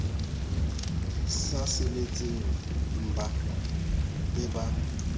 sa sebetseng mmba be ba